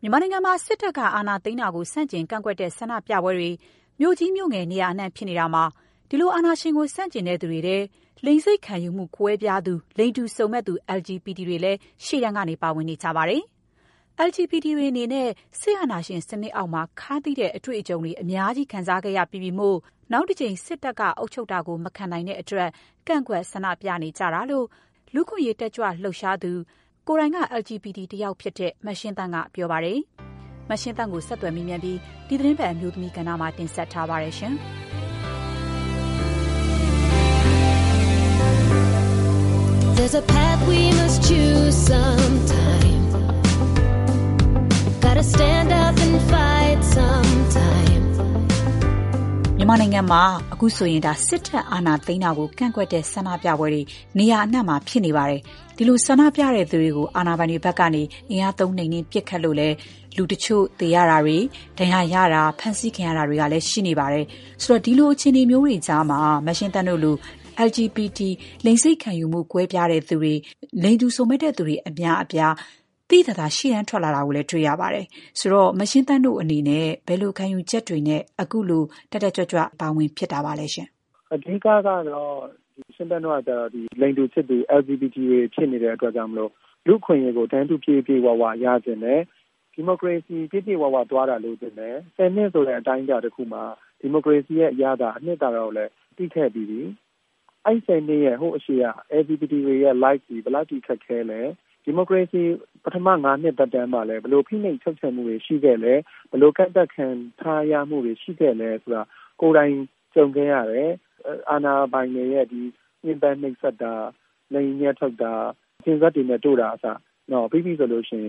မြန်မာနိုင်ငံမှာ စစ်တပ် အာဏာသိမ်းတာကို ကန့်ကွက်တဲ့ ဆန္ဒပြပွဲတွေနေရာအနှံ့မှာ ဖြစ်နေတယ်။ အာဏာပိုင်တွေဘက်က အင်အားသုံးနှိမ်နင်း ပစ်ခတ်လို့လည်း လူတချို့သေဆုံးတာ၊ ဒဏ်ရာရတာ၊ ဖမ်းဆီးခံရတာတွေကလည်း ရှိနေပါတယ်။ ဒီလို အခြေအနေတွေကြားမှာ မရှင်းသန့်တို့လိုလိင်စိတ်ခံယူမှု ကွဲပြားသူတွေ၊ လိင်တူစုံမက်သူ LGBT အများအပြား သိသိသာသာ ရှေ့ထွက်လာတာကိုတွေ့လာရပါတယ်။ မရှင်းသန့်တို့အနေနဲ့ ဘယ်လို ခံယူချက်တွေနဲ့ ခုလို တက်တက်ကြွကြွ ရှေ့တန်းကနေပါဝင်ဖြစ်တာပါလဲ။ “ရှင်သန့်တို့ကကျတော့လိင်တူချစ်သူ LGBT တွေ ဖြစ်နေတာမို့ လူ့အခွင့်အရေးကို တန်းတူ ပြည့်ပြည့်၀၀ ရချင်တယ်။ ဒီမိုကရေစီ ပြည့်ပြည့်၀၀ သွားတာလိုချင်တယ်။ ၁၀ နှစ်ဆိုတဲ့ အတိုင်းအတာ တခုမှာ ဒီမိုကရေစီရဲ့အရသာ အနှစ်သာရကို သိခဲ့ပြီးပြီ။ အဲ့ဒီ ၁၀ နှစ်မတိုင်ခင် LGBT တွေရဲ့ ဘဝက ဘယ်လောက်အထိခက်ခဲလဲ။ ဒီမိုကရေစီ ပထမ ၅ နှစ်သက်တမ်းမှာလည်း ဘယ်လို ဖိနှိပ်ချုပ်ချယ်မှုတွေရှိခဲ့လဲ။ ဘယ်လို ကန့်သတ်ခံရမှုတွေ ရှိခဲ့သလဲ ဆိုတာက ကိုယ်တိုင် ကြုံခဲ့ရတယ်။ အာဏာပိုင်တွေရဲ့ညှင်းပမ်းနှိပ်စက်တာ၊ လိင်အမြတ်ထုတ်တာ၊ ကျင်စက်တွေနဲ့ တို့တာကအစ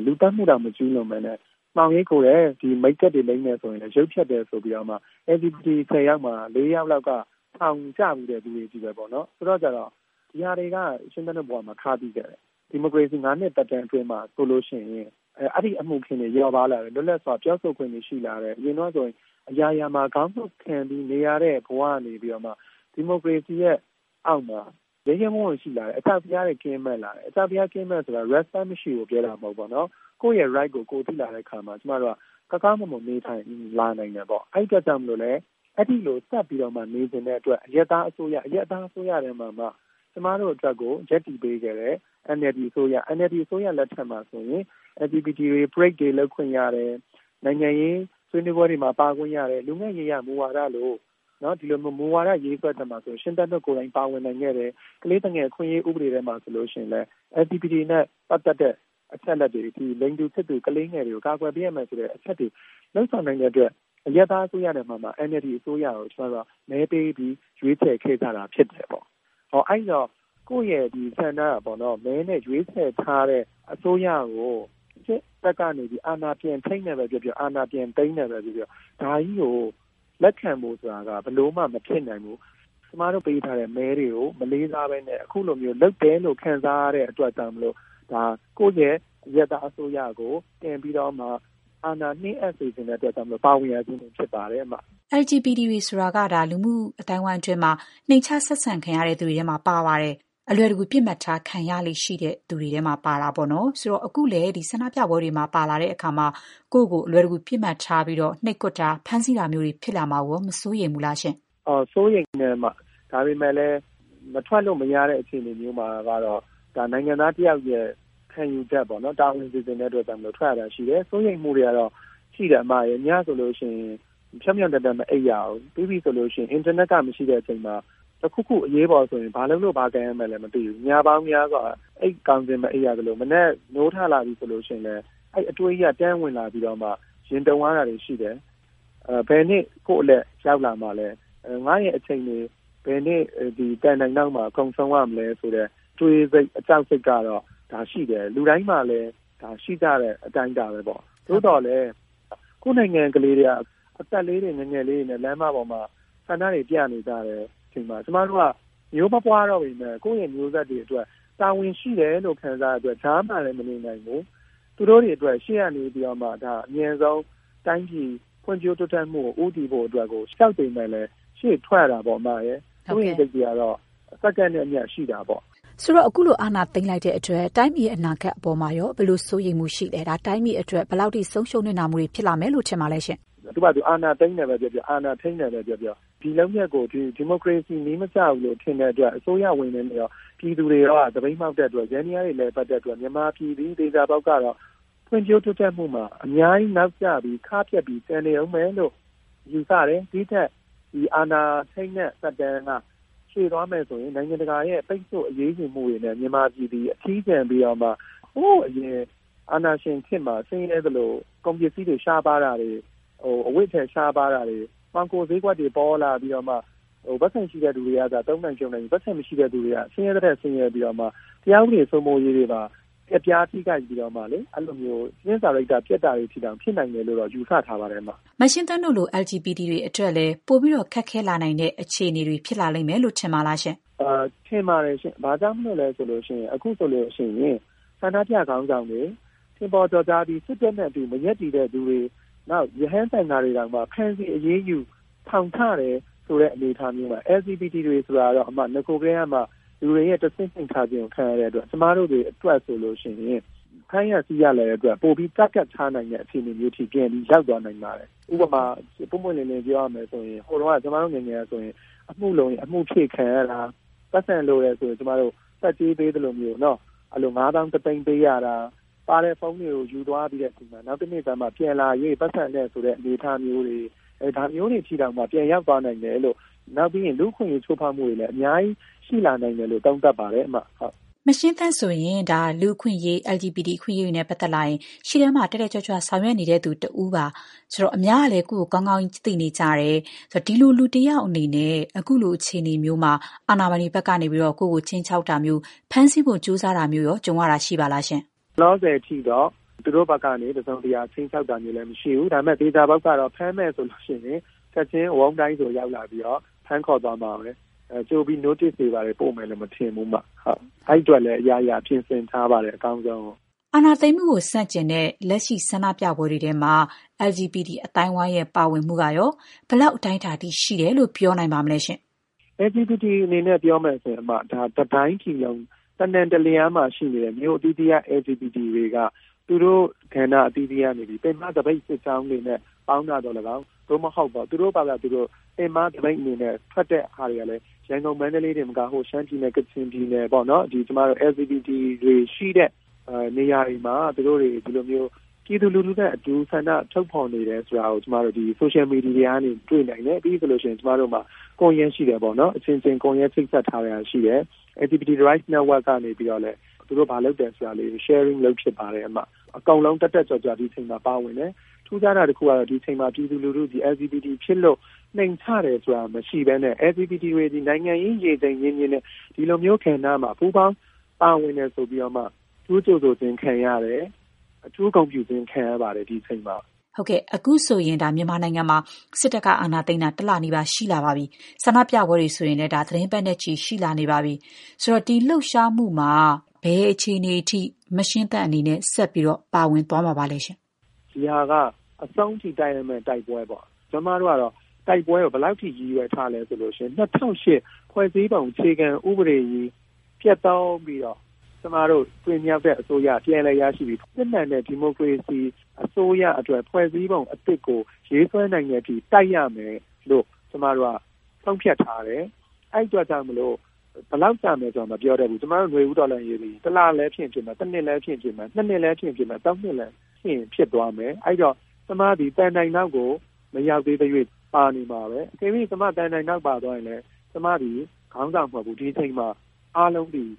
လူသတ်မှုတောင် မကျူးလွန်ဘဲနဲ့ မှောင်ရိပ်ခိုတယ်၊ မိတ်ကပ်လိမ်းတယ်ဆိုရင်လည်း ရုပ်ဖျက်တယ်ဆိုပြီး LGBT ၁၀ ယောက်မှာ ၄ ယောက်လောက်က ထောင်ကျဖူးတဲ့သူတွေချည်းပဲ။ ဒါတွေက ရှင်းသန့် တို့ဘဝမှာ ခါးသီးခဲ့တယ်။ ဒီမိုကရေစီ ၅ နှစ်သက်တမ်း အတွင်းမှာဆိုရင် ဒီလိုအမှုအခင်းတွေ လျော့ပါးလာတယ်။ လွတ်လပ်စွာပြောဆိုခွင့်တွေ ရှိလာတယ်။ အရင်တုန်းကဆိုရင် အရာရာမှာ ခေါင်းငုံ့ခံပြီးနေရတဲ့ ဘဝကနေဒီမိုကရေစီရဲ့အောက်မှာ ရဲရဲဝံ့ဝံ့ ရှိလာတယ်။ အကြောက်တရားတွေ ကင်းမဲ့လာတယ်။ အကြောက်တရားကင်းမဲ့တယ်ဆိုတာ respect မရှိဘူးလို့ ပြောတာ မဟုတ်ဘူး။ ကိုယ့်ရဲ့အခွင့်အရေးကို သိလာတဲ့အခါကောင်းကောင်းမွန်မွန် နေနိုင်လာတယ်။ အဲ့ဒီလိုဆက်ပြီးနေချင်တဲ့အတွက် အရပ်သားအစိုးရ၊အရပ်သားအစိုးရထဲမှာမှ ကျမတို့အတွက်ကို ရပ်တည်ပေးခဲ့တဲ့ NLD အစိုးရ။ NLD အစိုးရလက်ထက်မှာဆိုရင်LGBT တွေ parade တွေ လုပ်ခွင့်ရတယ်။ နိုင်ငံရေးဆွေးနွေးပွဲတွေ၊ လူငယ့်ရေးရာမူဝါဒလိုမူဝါဒရေးဆွဲတဲ့နေရာတွေမှာ ပါဝင်နိုင်ခဲ့တယ်။ ကလေးသူငယ်အခွင့်အရေး ဆိုရင်လည်း LGBT နဲ့ပတ်သက်တဲ့အချက်အလက်တွေ၊လိင်တူချစ်သူ ကလေးငယ်တွေကို ကာကွယ်ပေးရမယ်ဆိုတဲ့ အချက်တွေ လုပ်ဆောင်နိုင်တဲ့အတွက် အရပ်သားအစိုးရထဲမှာမှ NLD အစိုးရကို မဲပေး ရွေးချယ်ခဲ့ကြတာဖြစ်တယ်။ အဲ့ဒီတော့ ကိုယ့်ရဲ့မဲဆန္ဒမဲနဲ့ရွေးချယ်ထားတဲ့ အစိုးရကို စစ်တပ်ကနေ အာဏာပြန်ထိန်းတယ်ပဲ ပြောပြော အာဏာပြန်သိမ်းတယ်ပဲပြောပြောဒါကြီးကို လက်ခံဖို့ဆိုတာက ဘယ်လိုမှကို မဖြစ်နိုင်ဘူး။ ကျမတို့ ပေးထားတဲ့မဲတွေကို မလေးစားဘဲနဲ့ခုလို လုပ်တယ်လို့ ခံစားရတဲ့အတွက်ကြောင့် ကိုယ့်ရဲ့အရပ်သား အစိုးရကို ပြန်ပြီးတော့အာဏာနှင်းအပ်စေချင်တဲ့အတွက် ပါဝင်ရခြင်းဖြစ်ပါတယ်။” LGBT တွေဆိုတာ မြန်မာလူမှုအသိုင်းအဝိုင်းမှာ နှိမ်ချ ဆက်ဆံခံရတဲ့သူတွေထဲမှာပါ ပါတယ်။ အလွယ်တကူ ပစ်မှတ်ထား ခံရလေ့ရှိတဲ့ သူတွေပါ။ အခုလဲ ဆန္ဒပြပွဲတွေမှာ ပါလာတဲ့အခါကိုယ့်ကို အလွယ်တကူ ပစ်မှတ်ထားပြီး နှိပ်ကွက်တာ၊ ဖမ်းဆီးတာမျိုးတွေ ဖြစ်လာမှာကို မစိုးရိမ်ဘူးလား။ “စိုးရိမ်ပါတယ်။ ဒါပေမဲ့လည်း မထွက်လို့မရတဲ့ အခြေအနေမျိုးမှာကတော့ ဒါက နိုင်ငံသားတယောက်ရဲ့ ခံယူချက်ပေါ့။ တာဝန်ကျေချင်တဲ့အတွက် ထွက်ရတာရှိတယ်။ စိုးရိမ်မှုတွေတော့ရှိတာပေါ့ အစ်မရယ်။ ညဆိုရင် ဖြောင့်ဖြောင့်တန်းတန်း မအိပ်ရဘူး။ အင်တာနက်မရှိတဲ့ အချိန်မှာ တခုခု အရေးပေါ်ဆိုရင် ဘယ်လုပ်လို့ဘာကိုင်ရမှန်းမသိဘူး။ ညပေါင်းများစွာ အိပ်ကောင်းခြင်းမအိပ်ရသလို၊ မနက် နိုးလာပြီဆိုရင်လဲ အဲ့ဒီအတွေးကြီးက တန်းဝင်လာပြီးတော့မှ ရင်တုန်ရတာတွေရှိတယ်။ ပြီးရင် ဘယ်နေ့ ကိုယ့်အလှည့်ရောက်လာမှာလဲ။ ငါ့ရဲ့အချိန်တွေ ဘယ်နေ့ သံတိုင်အောက်မှာကုန်ဆုံးရမလဲ ဆိုတဲ့ အတွေး ကြောက်စိတ်ကတော့ ရှိတယ်။ ဒါက လူတိုင်းမှာလည်း ရှိကြတဲ့အတိုင်းအတာပဲပေါ့။ သို့သော်လည်း ကိုယ့်နိုင်ငံက ကလေးတွေက အသက်လေးတွေ ငယ်ငယ်လေးတွေနဲ့ လမ်းပေါ်မှာ ဆန္ဒတွေပြနေကြတယ်။ သေသွားတဲ့ကလေးတွေ ဆိုရင် အသက်မပြည့်သေးသူတွေတောင် ပါတဲ့အချိန်မှာ ကျမတို့က မျိုးမပွားတော့ပေမဲ့ ကိုယ့်ရဲ့မျိုးဆက်တွေအတွက် တာဝန်ရှိတယ်လို့ ခံစားရတဲ့အတွက် ကြားမှာလည်း မနေနိုင်ဘူး။ သူတို့တွေအတွက် ရှေ့က နေပြီးတော့မှ တိုင်းပြည် ဖွံ့ဖြိုးတိုးတက်မှုအတွက် အမြန်ဆုံးဦးတည်နိုင်ဖို့အတွက်ကို ကြောက်ပေမဲ့လည်း ရှေ့ထွက်ရတာပေါ့။ စိုးရိမ်စိတ်တွေကတော့ စက္ကန့်နဲ့အမျှ ရှိတာပေါ့။” ဆိုတော့ အခုလို အာဏာသိမ်းလိုက်တဲ့အတွက် တိုင်းပြည်အတွက် ဘယ်လိုစိုးရိမ်မှုတွေဖြစ်စေလဲ။ နိုင်ငံအတွက် ဘယ်လောက် ဆုံးရှုံးနစ်နာမှုတွေ ဖြစ်လာနိုင်တယ်လို့ ထင်ပါလဲ။ “သူ့ဟာသူ အာဏာသိမ်းတယ်ပဲပြောပြော၊ အာဏာထိန်းတယ်ပဲပြောပြော။ ဒါကို ဒီမိုကရေစီနည်းမကျဘူးလို့ ထင်တဲ့အတွက် အစိုးရဝန်ထမ်းတွေရော ပြည်သူတွေရောက သပိတ်မှောက်တဲ့အတွက် ယန္တရားတွေ မလည်ပတ်တဲ့အတွက် မြန်မာပြည်သည် သေချာပေါက်ကတော့ ဖွံ့ဖြိုးတိုးတက်မှုမှာ နောက်ကျပြီး ခါးပြတ်ပြီး ကျန်နေဦးမယ်လို့ ယူဆတယ်။ ဒီ့ထက် အာဏာသိမ်းတဲ့ သက်တမ်းက ရှည်သွားမယ်ဆိုရင် နိုင်ငံတကာရဲ့ ပိတ်ဆို့အရေးယူမှုတွေနဲ့ မြန်မာပြည်သည် အထီးကျန်ပြီးတော့မှ နဂို ရှိရင်းစွဲ ဖွံ့ဖြိုးတိုးတက်မှုတွေကနေ ဟိုးအရင် အာဏာရှင်စနစ်မှာ ဆင်းရဲသလို ကုန်ပစ္စည်းတွေ ရှားပါးတာတွေ၊ အဝတ်အထည် ရှားပါးတာတွေ၊ မှောင်ခိုဈေးကွက်တွေ ပေါလာပြီးတော့မှ ပိုက်ဆံရှိတဲ့သူတွေပဲ သုံးနိုင်ဖြုန်းနိုင်ပြီး ပိုက်ဆံမရှိတဲ့သူတွေက ဆင်းရဲသည်ထက် ဆင်းရဲပြီးတော့မှ တရားဥပဒေစိုးမိုးရေးတွေပါ ပျက်ပြားထိခိုက်ပြီး အကျင့်စာရိတ္တပျက်တာတွေအထိတောင် ဖြစ်နိုင်တယ်လို့ယူဆထားပါတယ်။” မရှင်းသန့်တို့လို LGBT တွေအတွက်ရော ပိုပြီး ခက်ခဲလာနိုင်တဲ့ အခြေအနေတွေ ဖြစ်လာလိမ့်မယ်လို့ ထင်ပါသလား။ “ထင်ပါတယ်ရှင့်။ ဘာကြောင့်လို့လဲ ဆိုရင်တော့ အခုဆိုရင် ဆန္ဒပြခေါင်းဆောင်တွေ ထင်ပေါ်ကျော်ကြားပြီး စစ်တပ်နဲ့ မရပ်တည်သူတွေ၊ ရဟန်းသံဃာတွေတောင်မှ ဖမ်းဆီး အရေးယူ ထောင်ချတယ် ဆိုတဲ့အနေအထားမှာ LGBT တွေဆိုတာတော့ နဂိုကတည်းကမှ လူတွေရဲ့ တဆင့်နိမ့်ထားခြင်းကို ခံရတဲ့အတွက် ကျမတို့တွေအတွက်ဆိုရင် ဖမ်းရဆီးရလွယ်တဲ့အတွက် ပိုပြီး ပစ်မှတ်ထားနိုင်တဲ့ အခြေအနေ ပြန်ပြီး ရောက်သွားနိုင်ပါတယ်။ ဥပမာ ပွင့်ပွင့်လင်းလင်း ပြောရမယ်ဆိုရင် ဟိုတုန်းက ကျမတို့ငယ်ငယ်ကဆိုရင်အမှုလိုရင် အမှုဖြည့်ခံရတာ။ ပိုက်ဆံလိုတယ်ဆိုရင် ဆတ်ကြေးပေးသလိုမျိုး ငါးသောင်း တစ်သိန်းပေးရတာ။ ပါတဲ့ဖုန်းတွေကို ယူသွားပြီး နောက်တနေ့ကျမှ ပြန်လာရွေး ပိုက်ဆံပေးရမယ်ဆိုတဲ့ အနေအထားမျိုးတွေအထိတောင် ပြန်ရောက်သွားနိုင်ပါတယ်။ ဒါ့အပြင် လူ့အခွင့်အရေး ချိုးဖောက်မှုတွေလည်း အများကြီးရှိလာနိုင်တယ်လို့ သုံးသပ်ပါတယ်။” မရှင်းသန့်ဆိုရင် လူ့အခွင့်အရေး၊ LGBT အခွင့်အရေးတွေနဲ့ပတ်သက်လာရင် ရှေ့တန်းမှာ တက်တက်ကြွကြွ ဆောင်ရွက်နေတဲ့သူ တယောက် ဖြစ်ပါတယ်။ အများကလည်း ကိုယ့်ကို ကောင်းကောင်းသိနေကြတယ်ဆိုတော့ ဒီလိုလူတယောက်အေနေနဲ့ အခုလို အခြေအနေမျိုးမှာ အာဏာပိုင်တွေဘက်က ကိုယ့်ကို ခြိမ်းခြောက်တာမျိုး၊ ဖမ်းဆီးဖို့ကြိုးစားတာမျိုးရော ကြုံရတာရှိပါလား။ “လောလောဆယ်အထိတော့ သူတို့ဘက်ကနေ တစုံတရာ ခြိမ်းခြောက်တာမျိုးတော့မရှိဘူး။ ဒါပေမဲ့ သေချာတာကတော့ ဖမ်းမယ်ဆိုလို့ရှိရင် ချက်ချင်းဝုန်းဒိုင်းဆို ရောက်လာပြီးတော့ ဖမ်းခေါ်သွားမှာပဲ။ ကြိုပြီး notice တွေ ဘာတွေ ပေးမယ်လို့မထင်ဘူး။ အဲ့ဒီအတွက်လည်း အရာရာပြင်ဆင်ထားပါတယ်။ အကောင်းဆုံးရင်ဆိုင်ဖို့။” အာဏာသိမ်းမှုကိုဆန့်ကျင်တဲ့ လက်ရှိဆန္ဒပြပွဲတွေမှာ LGBT အသိုင်းအဝိုင်းရဲ့ ပါဝင်မှုကရော ဘယ်လောက် အတိုင်းအတာထိ ရှိတယ်လို့ ပြောနိုင်ပါလဲ။ “LGBT အနေနဲ့ ပြောမယ်ဆိုရင် ဒါက တတိုင်းပြည်လုံး တနှံတလျားမှာရှိနေတဲ့မြို့အသီးသီးက LGBT တွေက သူတို့ကဏ္ဍ အသီးသီးကနေ ပင်မသပိတ်စစ်ကြောင်းတွေနဲ့ ပေါင်းတာသော်လည်းကောင်း၊ သို့မဟုတ် သူတို့ဖာသာသူတို့ ပင်မသပိတ်အနေနဲ့ ထွက်တဲ့ဟာတွေကလည်း ရန်ကုန်၊ မန္တလေးတင်မကဘူး။ရှမ်းပြည်နယ်၊ ကချင်ပြည်နယ် စသဖြင့် LGBT တွေရှိတဲ့နေရာတွေမှာ သူတို့တွေဟာ ပြည်သူလူထုနဲ့အတူ ဆန္ဒထုတ်ဖော်နေတယ်ဆိုတာကို လူမှုကွန်ရက်တွေကနေ တွေ့နိုင်တယ်။ ကျမတို့အချင်းချင်း ချိတ်ဆက်ထားတဲ့ ကွန်ရက်လည်း ရှိပါတယ်။ LGBT Rights Network ကနေပြီးတော့လည်း သူတို့ဘာလုပ်တယ်ဆိုတာတွေကို sharing လုပ်ဖြစ်ပါတယ်။ အကုန်လုံး တက်တက်ကြွကြွ ဒီအချိန်မှာ ပါဝင်တယ်။ ထူးခြားတာတခုကတော့ ဒီအချိန်မှာ ပြည်သူလူထုသည် LGBT ဖြစ်လို့ နှိမ်ချတယ်ဆိုတာ မရှိဘဲနဲ့ LGBT တွေသည် နိုင်ငံရေး ရေချိန်မြင့်မြင့်နဲ့ ဒီလိုမျိုးကဏ္ဍမှာ ပူးပေါင်း ပါဝင်တယ်ဆိုပြီး အထူးကြိုဆိုခြင်းခံရတယ်။ ဒီအချိန်မှာ အထူး ဂုဏ်ပြုခြင်း ခံရပါတယ်။” အခုဆိုရင် မြန်မာနိုင်ငံမှာ စစ်တပ်က အာဏာသိမ်းတာ ၁ လနီးပါးရှိလာနေပြီး ဆန္ဒပြပွဲတွေဆိုရင်လည်း သီတင်းပတ်နဲ့ချီနေပါပြီ။ ဒီလှုပ်ရှားမှုမှာ မရှင်းသန့်အနေနဲ့ ဘယ်လိုရပ်တည်ပြီး ဘယ်လိုအခြေအနေမျိုးနဲ့ဆက်ပြီး ပါဝင်သွားပါမလဲ။ “ဒီဟာက အဆုံးထိ တိုက်ရမယ့်တိုက်ပွဲပေါ့။ ကျမတို့ကတော့ တိုက်ပွဲကို ဘယ်လောက်အထိ ရည်ရွယ်ထားသလဲ ဆိုရင် ၂၀၀၈ ဖွဲ့စည်းပုံ အခြေခံဥပဒေကြီး ပျက်သုဉ်းပြီးတော့ ကျမတို့တင်မြှောက်တဲ့ အစိုးရ ပြန်လည်အာဏာရရှိပြီး စစ်မှန်တဲ့ ဒီမိုကရေစီအစိုးရအတွက် ဖွဲ့စည်းပုံ အသစ်ကို ရေးဆွဲနိုင်တဲ့အထိ တိုက်ရမယ်လို့ ဆုံးဖြတ်ထားတယ်။ အဲ့ဒီအတွက် ဘယ်လောက်ကြာမလဲ မပြောနိုင်ဘူး။ ကျမတို့ နွေဦးတော်လှန်ရေးသည် ၁ လ လည်းဖြစ်နိုင်တယ်။ ၁ နှစ်လည်းဖြစ်နိုင်တယ်။၂ နှစ် ၃ နှစ်လည်း ဖြစ်ရင်ဖြစ်သွားမယ်။ အဲ့ဒီတော့ ကျမသည် သံတိုင်နောက်ကို မရောက်သေးသ၍ ပါနေမှာပဲ။ အကယ်၍ ကျမ သံတိုင်နောက်ပါသွားရင်လည်း ကျမသည် ခေါင်းဆောင်မဟုတ်ဘူး။ ဒီအချိန်မှာအားလုံးသည်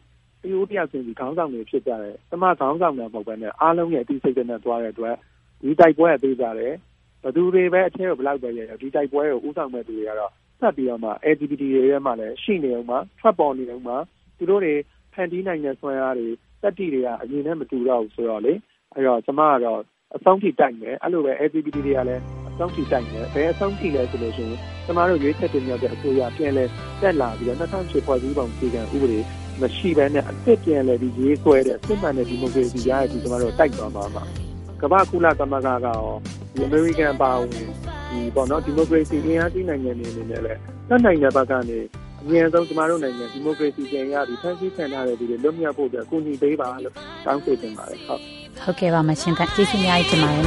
တဦးတယောက်တိုင်းသည် ခေါင်းဆောင်တွေ ဖြစ်ကြတယ်။ ကျမ ခေါင်းဆောင်တာ မဟုတ်ဘဲ အားလုံးရဲ့အသိစိတ်ဓာတ်နဲ့သွားတဲ့အတွက် ဒီတိုက်ပွဲက သေချာတယ်။ ဘယ်သူတွေ ဘယ်လောက်ပဲ အထဲကိုရောက်ရောက် ဒီတိုက်ပွဲကို ဦးဆောင်မယ့်သူတွေကတော့ ဆက်ရှိနေမယ်။ LGBT တွေထဲမှာလည်း ရှိနေဦးမှာ။ ထွက်ပေါ်နေဦးမှာ။ သူတို့တွေ ဖန်တီးနိုင်တဲ့ စွမ်းအားတွေ သတ္တိတွေက အရင်နဲ့ မတူတော့ဘူးဆိုတော့ ကျမကတော့ အဆုံးထိ တိုက်မယ်။ အဲ့ဒီလိုပဲ LGBT တွေကလည်း အဆုံးထိတိုက်မယ်။ ဘယ်အဆုံးထိလဲဆိုရင် ကျမတို့ ရွေးချယ်တင်မြှောက်တဲ့အစိုးရ ပြန်လည် တက်လာပြီးတော့ ၂၀၀၈ ဖွဲ့စည်းပုံ အခြေခံဥပဒေမရှိဘဲနဲ့ အသစ်ပြန်လည်ရေးဆွဲတဲ့ စစ်မှန်တဲ့ဒီမိုကရေစီရတဲ့အထိ တိုက်သွားမှာပါ။ ကုလသမဂ္ဂကရော၊ အမေရိကန် အပါအဝင် ဒီမိုကရေစီအင်အားကြီး နိုင်ငံတွေ အနေနဲ့လည်း တတ်နိုင်တဲ့ဘက်ကနေ ကျမတို့နိုင်ငံအမြန်ဆုံး ဒီမိုကရေစီပြန်ရပြီး ဖမ်းဆီးခံထားရတဲ့သူတွေ လွတ်မြောက်ဖို့အတွက် ကူညီပေးပါလို့ တောင်းဆိုချင်ပါတယ်။” ဟုတ်ကဲ့။ ကျေးဇူးအများကြီးတင်ပါတယ်